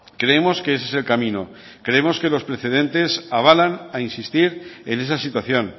creemos que ese es el camino creemos que los precedentes avalan a insistir en esa situación